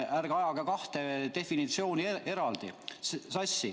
Ärge ajage kahte definitsiooni sassi!